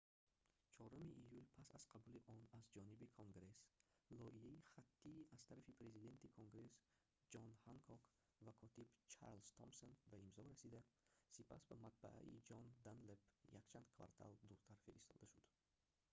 4 июл пас аз қабули он аз ҷониби конгресс лоиҳаи хаттии аз тарафи президенти конгресс ҷон ҳанкок ва котиб чарлз томсон ба имзо расида сипас ба матбааи джон данлэп якчанд квартал дуртар фиристода шуд